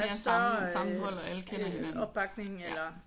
Og større opbakning eller?